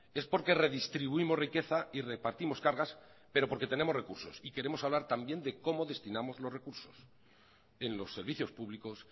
es porque redistribuimos riqueza y repartimos cargas pero porque tenemos recursos y queremos hablar también de cómo destinamos los recursos en los servicios públicos